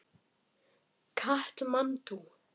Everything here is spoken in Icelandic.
Katmandú